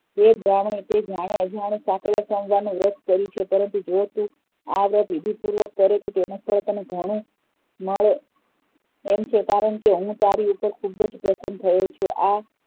તે જાણ્યે અજાણ્યે નું વ્રત કર્યું છે પરંતુ આ વ્રત તું વિધિપુરવક કરે તો તેનું ફળ તને ઘણું મળે એમ છે કારણ કે હું તારી ઉપ્પર ઘણો પ્રસ્સન થયો છું આ